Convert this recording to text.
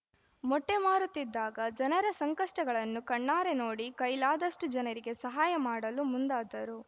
ಮೊಟ್ಟೆಮಾರುತ್ತಿದ್ದಾಗ ಜನರ ಸಂಕಷ್ಟಗಳನ್ನು ಕಣ್ಣಾರೆ ನೋಡಿ ಕೈಲಾದಷ್ಟುಜನರಿಗೆ ಸಹಾಯ ಮಾಡಲು ಮುಂದಾದರು